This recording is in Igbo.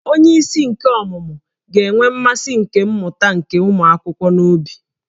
Onyeisi nke ọmụmụ ga-enwe mmasị nke mmụta nke ụmụ akwụkwọ n'obi